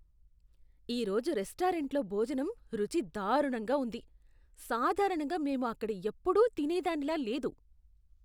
ఈ రోజు రెస్టారెంట్లో భోజనం రుచి దారుణంగా ఉంది. సాధారణంగా మేము అక్కడ ఎప్పుడూ తినేదానిలా లేదు.